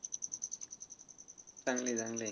चांगलं आहे, चांगलं आहे.